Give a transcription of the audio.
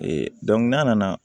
n'a nana